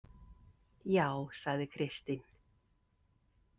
Já, sagði Kristín.